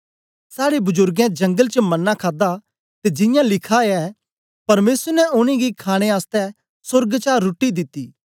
साड़े बजुर्गे जगल च मन्ना खादा ते जियां लिखा ऐ परमेसर ने उनेंगी खाणे आसतै सोर्ग चा रुट्टी दिती